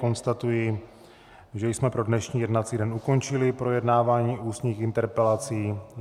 Konstatuji, že jsme pro dnešní jednací den ukončili projednávání ústních interpelací.